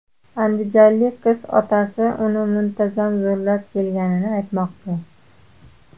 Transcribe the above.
Andijonlik qiz otasi uni muntazam zo‘rlab kelganini aytmoqda.